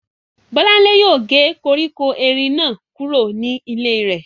Bọ́lánlé yóò gé koríko erin náà kúrò ní ilé rẹ̀